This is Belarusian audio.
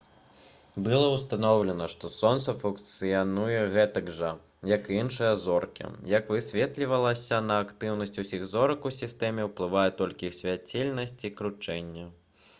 было ўстаноўлена што сонца функцыянуе гэтак жа як і іншыя зоркі як высветлілася на актыўнасць усіх зорак у сістэме ўплывае толькі іх свяцільнасць і кручэнне